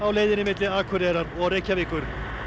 leiðinni milli Akureyrar og Reykjavíkur